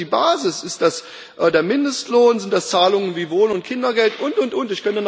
Was ist denn die Basis? Ist das der Mindestlohn, sind das Zahlungen wie Wohn und Kindergeld, und und und?